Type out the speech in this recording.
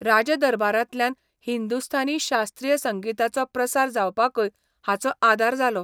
राज दरबारांतल्यान हिंदुस्थानी शास्त्रीय संगीताचो प्रसार जावपाकय हाचो आदार जालो.